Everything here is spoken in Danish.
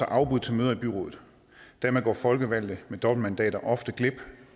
afbud til møder i byrådet dermed går folkevalgte med dobbeltmandater ofte glip